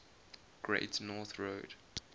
great north road